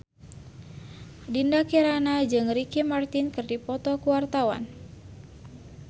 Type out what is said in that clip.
Dinda Kirana jeung Ricky Martin keur dipoto ku wartawan